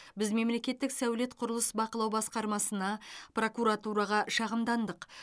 біз мемлекеттік сәулет құрылыс бақылау басқармасына прокуратураға шағымдандық